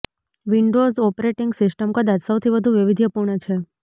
Windows operating system કદાચ સૌથી વધુ વૈવિધ્યપૂર્ણ છે